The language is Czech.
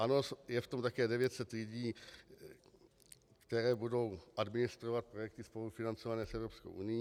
Ano, je v tom také 900 lidí, kteří budou administrovat projekty spolufinancované s Evropskou unií.